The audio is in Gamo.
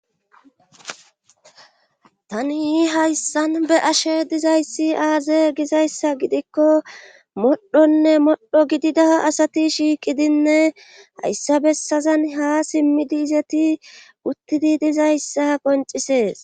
Tani yi hayssan be'ashe dizayssi aaze gizayssa gidikko modhonne modho gidida asati shiiqidinne hayssa bessazan ha simmidi izeti uttidi dizayssa qoncisees.